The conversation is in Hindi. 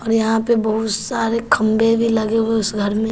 और यहां पे बहुत सारे खंभे भी लगे हुए उस घर में।